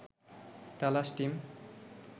Talash team